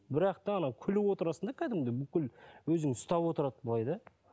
бірақ та анау күліп отырасың да кәдімгідей бүкіл өзіңді ұстап отырады былай да